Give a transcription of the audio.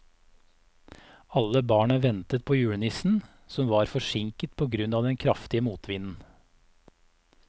Alle barna ventet på julenissen, som var forsinket på grunn av den kraftige motvinden.